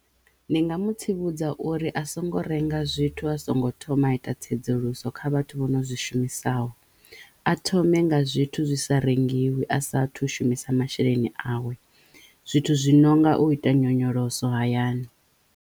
Ndi nga mu tsivhudza uri a songo renga zwithu a songo thoma a ita tsedzuluso kha vhathu vho no zwi shumisaho a thome nga zwithu zwi sa rengiwi a sathu shumisa masheleni awe zwithu zwi no nga u ita nyonyoloso hayani.